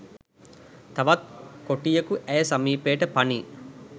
තවත් කොටියකු ඇය සමීපයට පනී